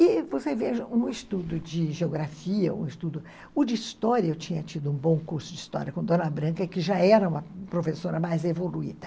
E você veja, um estudo de geografia, um estudo... O de história, eu tinha tido um bom curso de história com Dona Branca, que já era uma professora mais evoluída.